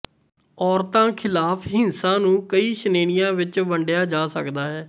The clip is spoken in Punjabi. ਔਰਤਾਂ ਖ਼ਿਲਾਫ਼ ਹਿੰਸਾ ਨੂੰ ਕਈ ਸ਼੍ਰੇਣੀਆਂ ਵਿੱਚ ਵੰਡਿਆ ਜਾ ਸਕਦਾ ਹੈ